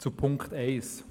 Zu Punkt 1: